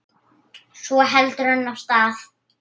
Svo heldur hann af stað.